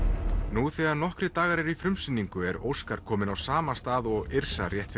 nú þegar nokkrir dagar eru í frumsýningu er Óskar kominn á sama stað og Yrsa rétt